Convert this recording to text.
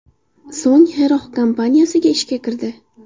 So‘ng Xerox kompaniyasiga ishga kirdi.